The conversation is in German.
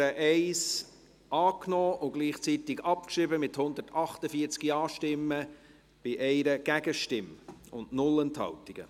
Sie haben die Ziffer 1 angenommen und gleichzeitig abgeschrieben, mit 148 Ja-Stimmen bei 1 Gegenstimme und 0 Enthaltungen.